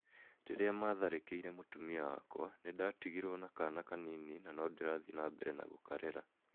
"Rĩrĩa maatharĩkĩire mũtumia wakwa, nĩ ndatigirũo na kaana kanini, na no ndĩrathiĩ na mbere gũkarera.